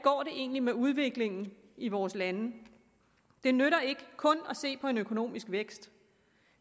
det egentlig går med udviklingen i vores lande det nytter ikke kun at se på en økonomisk vækst